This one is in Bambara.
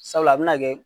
Sabula a bɛna kɛ